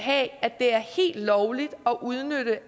have at det er helt lovligt at udnytte